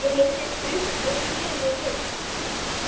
Ég heyrði þrusk og sneri mér við.